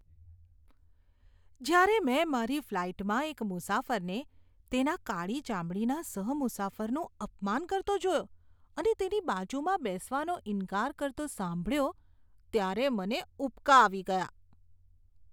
જ્યારે મેં મારી ફ્લાઇટમાં એક મુસાફરને તેના કાળી ચામડીના સહ મુસાફરનું અપમાન કરતો અને તેની બાજુમાં બેસવાનો ઇન્કાર કરતો સાંભળ્યો ત્યારે મને ઉબકા આવી ગયા.